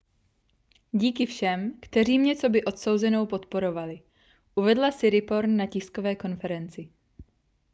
díky všem kteří mě coby odsouzenou podporovali uvedla siriporn na tiskové konferenci